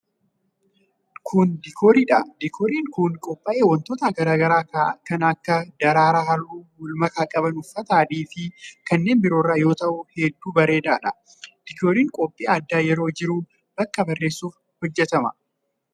Kun, diikoorii dha. Diikooriin kun kan qophaa'e wantoota garaa garaa kan akka :daraaraa haalluu wal makaa qaban, uffata adii fi kanneen biroo irraa yoo ta'u ,hedduu bareedaa dha. Diikooriin qophiin addaa yeroo jiru bakka bareessuuf hojjatama.